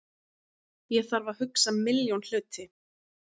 Ég þarf að hugsa milljón hluti.